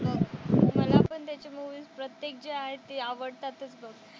मला पण त्याचे मुव्हीज प्रत्येक जे आहेत ते आवडतातच बघ.